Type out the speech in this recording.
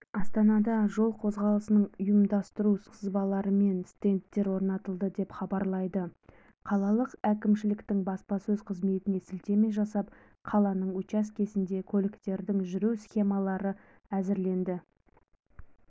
астанада жол қозғалысын ұйымдастыру сызбаларымен стендтер орнатылды деп хабарлайды қалалық әкімшіліктің баспасөз қызметіне сілтеме жасап қаланың учаскесінде көліктердің жүру схемаларын әзірледі